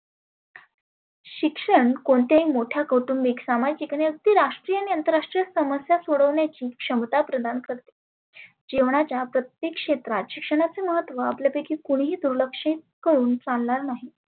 शिक्षण कोणतेही मोठ्या कौटुंबीक, सामाजीक आणि राष्ट्रीय अंतरराष्ट्रीय समस्या सोडवण्याची क्षमता प्रदान करते. जिवणाच्या प्रत्येक क्षेत्रात शिक्षणाच अहत्व आपल्या पैकी कोणिही दुर्लक्षीत करुण चालणार नाही.